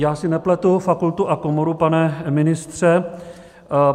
Já si nepletu fakultu a komoru, pane ministře.